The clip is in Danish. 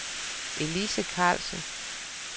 Elise Carlsen